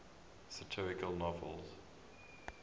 satirical novels